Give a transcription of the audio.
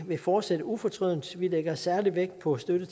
vil fortsætte ufortrødent vi lægger særlig vægt på at støtte